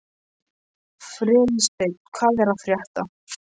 Freysteinn, hvað er að frétta?